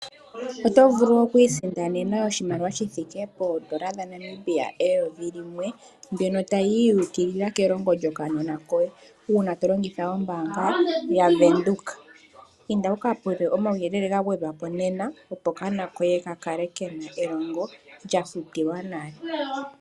Otovulu okwiisindanena oshimaliwa shithike N$1000 mbyono tayiyi yuukilila kelongo lyokanona koye uuna tolongitha ombaanga yaVenduka. Inda wuka puke omauyelele gagwedhwapo nena Opo okanona koye kakale kena elongo lyafutilwa nale.